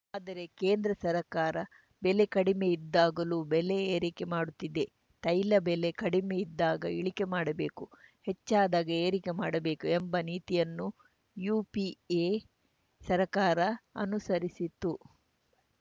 ಆದರೆ ಕೇಂದ್ರ ಸರ್ಕಾರ ಬೆಲೆ ಕಡಿಮೆ ಇದ್ದಾಗಲೂ ಬೆಲೆ ಏರಿಕೆ ಮಾಡುತ್ತಿದೆ ತೈಲ ಬೆಲೆ ಕಡಿಮೆ ಇದ್ದಾಗ ಇಳಿಕೆ ಮಾಡಬೇಕು ಹೆಚ್ಚಾದಾಗ ಏರಿಕೆ ಮಾಡಬೇಕು ಎಂಬ ನೀತಿಯನ್ನು ಯುಪಿಎ ಸರ್ಕಾರ ಅನುಸರಿಸಿತ್ತು